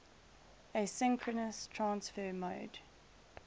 asynchronous transfer mode